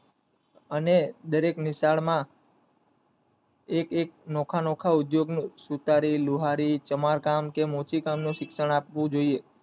અને દરેક નિશાળ માં એક એક નોખા નોખા ઔધિયોગ નું સુતારી લુહારી સમારકામ કે મોચી કામ નું શિક્ષણ આપવું જોયે